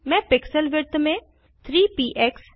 मैं pixel width में 3 peaks